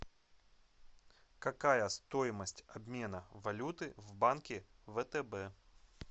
какая стоимость обмена валюты в банке втб